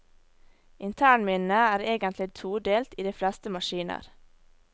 Internminnet er egentlig todelt i de fleste maskiner.